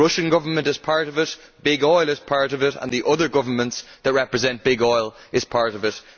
The Russian Government is part of it, big oil is part of it, and the other governments who represent big oil are part of it.